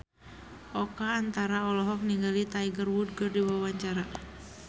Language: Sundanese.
Oka Antara olohok ningali Tiger Wood keur diwawancara